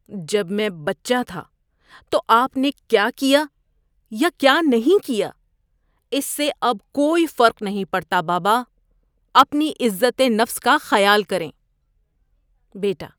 جب میں بچہ تھا تو آپ نے کیا کیا یا کیا نہیں کیا اس سے اب کوئی فرق نہیں پڑتا، بابا۔ اپنی عزت نفس کا خیال کریں۔ (بیٹا)